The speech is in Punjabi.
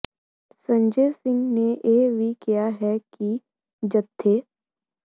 ਸੰਜੇ ਸਿੰਘ ਨੇ ਇਹ ਵੀ ਕਿਹਾ ਹੈ ਕਿ ਜੱਥੇ